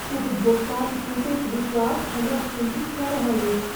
उपभोक्ताक टूटैत विश्वास हमरा चिन्तित कऽ रहल अछि।